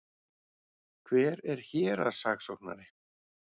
Hver er héraðssaksóknari?